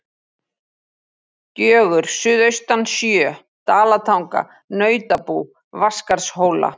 Gjögur suðaustan sjö, Dalatanga, Nautabú, Vatnsskarðshóla.